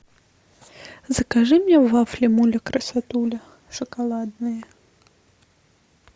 закажи мне вафли муля красотуля шоколадные